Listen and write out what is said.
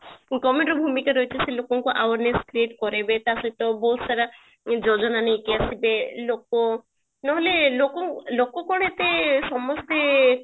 government ଭୂମିକା ରହିଛି ସେ ଲୋକଙ୍କ awareness create କରେଇବେ ତାସହିତ ବହୁତ ସାରା ଯୋଜନା ନେଇକି ଆସିବେ ଲୋକ ନହେଲେ ଲୋକଙ୍କ ଲୋକ କଣ ଏତେ ସମସ୍ତେ